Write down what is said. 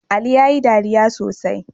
Ali yayi dariya sosai